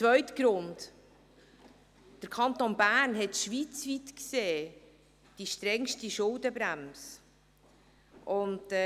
Zweiter Grund: Der Kanton Bern hat schweizweit gesehen die strengste Schuldenbremse.